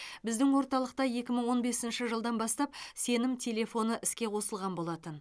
біздің орталықта екі мың он бесінші жылдан бастап сенім телефоны іске қосылған болатын